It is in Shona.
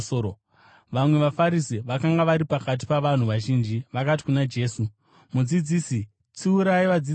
Vamwe vaFarisi vakanga vari pakati pavanhu vazhinji vakati kuna Jesu, “Mudzidzisi, tsiurai vadzidzi venyu!”